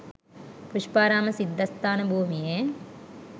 පුෂ්පාරාම සිද්ධස්ථාන භූමියේ